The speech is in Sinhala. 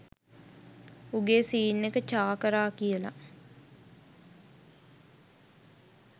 උගේ සීන් එක චා කරා කියලා